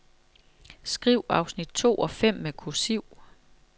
Skriv afsnit to og fem med kursiv.